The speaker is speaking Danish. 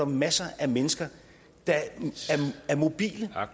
masser af mennesker der er mobile